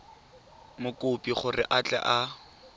mokopi gore a tle a